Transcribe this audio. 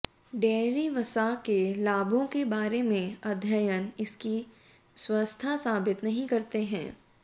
dairy वसा के लाभों के बारे में अध्ययन इसकी स्वस्थता साबित नहीं करते हैं